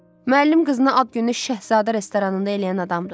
Müəllim qızına ad gününü Şahzadə restoranında eləyən adamdır.